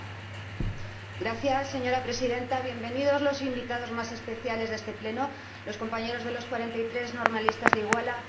Señora Presidenta, sean bienvenidos los invitados más especiales de este Pleno los compañeros de los 43 normalistas de Iguala. ¡Gracias por estar aquí!